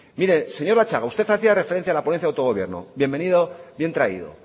mire señor latxaga usted hacía referencia a la ponencia del autogobierno bien traído